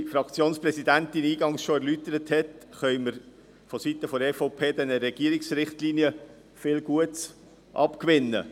Wie unsere Fraktionspräsidentin eingangs erläutert hat, können wir von Seiten der EVP den Regierungsrichtlinien viel Gutes abgewinnen.